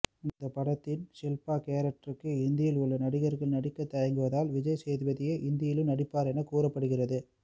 இந்த படத்தின் ஷில்பா கேரக்டருக்கு இந்தியில் உள்ள நடிகர்கள் நடிக்க தயங்குவதால் விஜய்சேதுப்தியே இந்தியிலும் நடிப்பார் என கூறப்படுகிறது